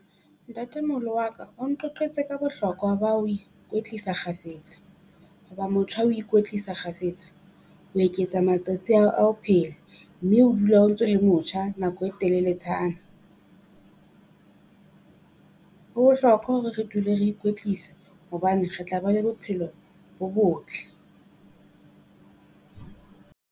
Ntatemoholo wa ka o nqoqetse ka bohlokwa ba ho ikwetlisa kgafetsa, hoba motho ha o ikwetlisa kgafetsa, ho eketsa matsatsi a ho phela. Mme o dula o ntso le motjha nako e teleletshana, ho bohlokwa hore re dule re ikwetlisa hobane re tla ba bophelo bo botle.